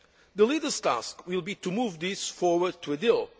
The leaders' task will be to move this forward to a